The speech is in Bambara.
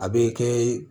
A bɛ kɛ